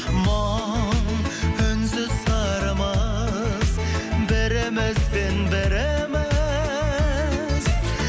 мұң үнсіз сырымыз бірімізбен біріміз